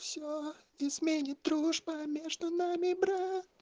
дружба между нами брат